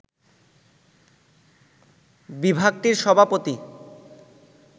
বিভাগটির সভাপতি